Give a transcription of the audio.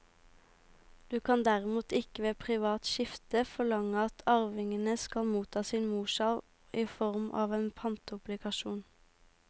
Du kan derimot ikke ved privat skifte forlange at arvingene skal motta sin morsarv i form av en pantobligasjon.